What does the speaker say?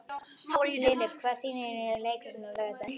Filip, hvaða sýningar eru í leikhúsinu á laugardaginn?